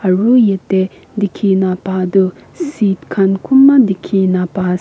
aru yate dikhina paa toh seat khan kunba dikhina paase.